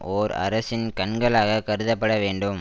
ஓர் அரசின் கண்களாகக் கருதப்பட வேண்டும்